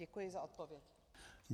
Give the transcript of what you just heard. Děkuji za odpověď.